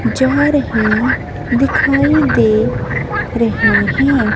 जा रहे दिखाई दे रहे हैं।